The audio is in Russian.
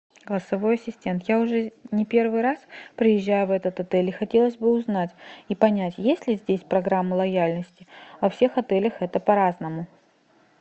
голосовой ассистент я уже не первый раз приезжаю в этот отель и хотелось бы узнать и понять есть ли здесь программа лояльности во всех отелях это по разному